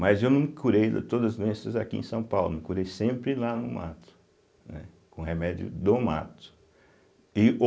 Mas eu não me curei de todas as doenças aqui em São Paulo, me curei sempre lá no mato, né, com remédio do mato e ou